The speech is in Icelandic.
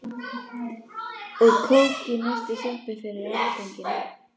Og kók í næstu sjoppu fyrir afganginn.